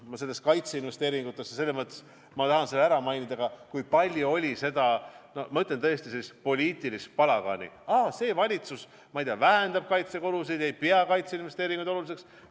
Mis puutub kaitseinvesteeringutesse, siis ma tahan ära märkida, kui palju on selle ümber olnud poliitilist palagani: aa, see valitsus, ma ei tea, vähendab kaitsekulusid, ei pea kaitseinvesteeringuid oluliseks!